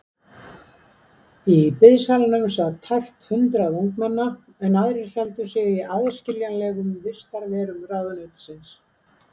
Í biðsalnum sat tæpt hundrað ungmenna, en aðrir héldu sig í aðskiljanlegum vistarverum ráðuneytisins.